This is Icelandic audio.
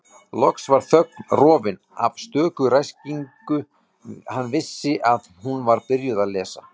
Loks varð þögn, rofin af stöku ræskingu, hann vissi að hún var byrjuð að lesa